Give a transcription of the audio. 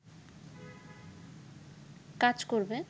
কাজ করবে